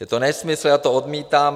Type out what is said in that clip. Je to nesmysl, já to odmítám.